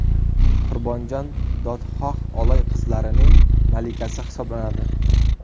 Qurbonjon dodxoh Oloy qirg‘izlarining malikasi hisoblanadi.